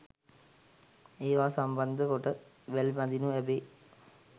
ඒවා සම්බන්ධ කොට වැල් බඳීනු ලැබේ.